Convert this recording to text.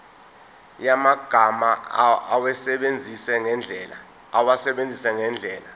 yamagama awasebenzise ngendlela